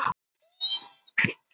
Allt þar til þessa nýársnótt.